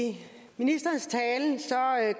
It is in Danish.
det